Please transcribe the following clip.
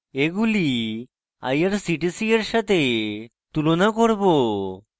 এগুলি irctc we সাথে তুলনা করব